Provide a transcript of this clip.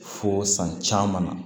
Fo san caman na